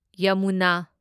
Yamuna